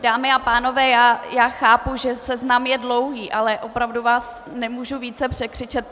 Dámy a pánové, já chápu, že seznam je dlouhý, ale opravdu vás nemohu více překřičet.